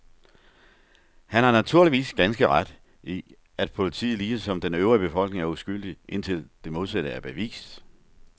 Han har naturligvis har ganske ret i, at politiet ligesom den øvrige befolkning er uskyldig, indtil det modsatte er bevist.